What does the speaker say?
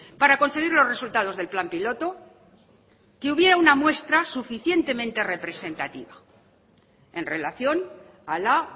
para conseguir los resultados del plan piloto que hubiera una muestra suficientemente representativa en relación a la